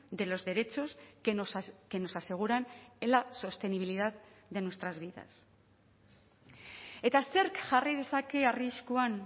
de los derechos que nos aseguran en la sostenibilidad de nuestras vidas eta zerk jarri dezake arriskuan